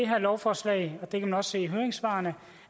her lovforslag og det kan man også se i høringssvarene